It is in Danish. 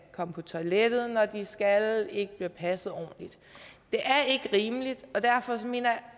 komme på toilettet når de skal ikke bliver passet ordentligt det er ikke rimeligt og derfor mener jeg